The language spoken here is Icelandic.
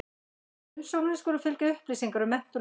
Með umsóknum skulu fylgja upplýsingar um menntun og reynslu.